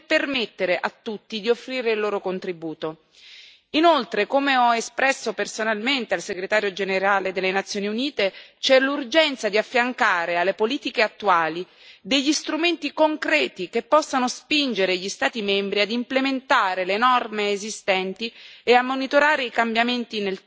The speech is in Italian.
Inoltre, come ho espresso personalmente al Segretario generale delle Nazioni Unite, c'è l'urgenza di affiancare alle politiche attuali degli strumenti concreti che possano spingere gli Stati membri ad implementare le norme esistenti e a monitorare i cambiamenti nel tempo, soprattutto in riferimento alle norme relative